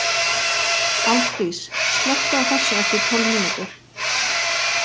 Álfdís, slökktu á þessu eftir tólf mínútur.